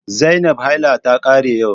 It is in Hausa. Zainab haila ta kare yau